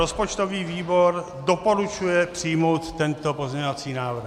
Rozpočtový výbor doporučuje přijmout tento pozměňovací návrh.